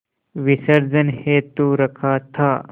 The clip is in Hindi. विसर्जन हेतु रखा था